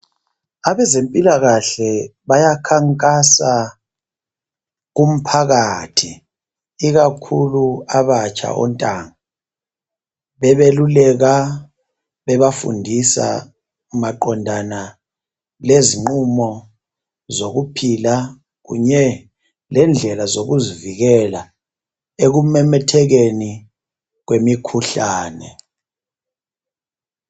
Abezempilakahle bayakhankasa kumphakathi ikakhulu kwabatsha ontanga bebeluleka bebafundisa maqondana lezinqumo zokuphila kunye lendlela zokuzivikela ekumemethekeni kwemikhuhlane.